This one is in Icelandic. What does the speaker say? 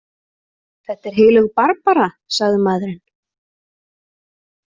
Þetta er heilög Barbara, sagði maðurinn.